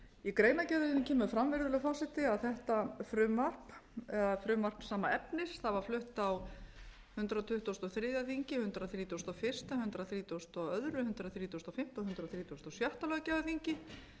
í greinargerðinni kemur fram virðulegi forseta að þetta frumvarp eða frumvarp sama efnis var flutt á hundrað tuttugasta og þriðja þingi hundrað þrítugasta og fyrstu hundrað þrítugasta og annað hundrað þrítugasta og fimmta og hundrað þrítugasta og sjötta löggjafarþingi þannig á það er nú búið